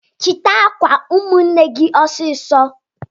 chita akwa nwanne gi osiso